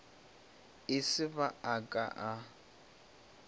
e se ba a ka